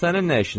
Sənin nə işinə?